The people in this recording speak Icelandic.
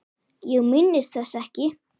Ég minnist þess ekki.